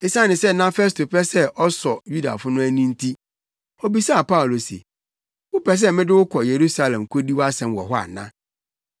Esiane sɛ na Festo pɛ sɛ ɔsɔ Yudafo no ani nti obisaa Paulo se, “Wopɛ sɛ mede wo kɔ Yerusalem kodi wʼasɛm wɔ hɔ ana?”